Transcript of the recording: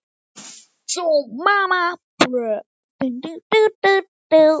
Er þetta ekki hann